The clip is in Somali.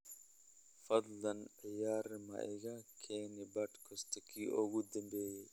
fadlan ciyaar maina kageni podcast-kii ugu dambeeyay